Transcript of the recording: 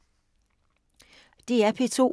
DR P2